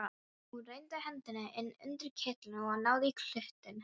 Hún renndi hendinni inn undir kyrtilinn og náði í klútinn.